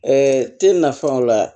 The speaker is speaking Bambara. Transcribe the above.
te nafa o la